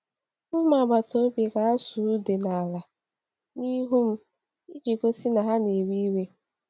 Ụmụ agbata obi ga-asụ̀ ude n’ala n’ihu m iji gosi na ha na-ewe iwe.